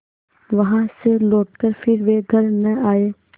वहाँ से लौटकर फिर वे घर न आये